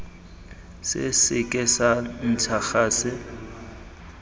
se seke sa ntsha gase